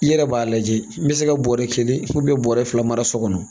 I yɛrɛ b'a lajɛ n bɛ se ka bɔrɛ kelen bɔrɛ fila mara so kɔnɔ